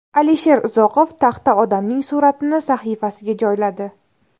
Alisher Uzoqov taxta odamning suratini sahifasiga joyladi.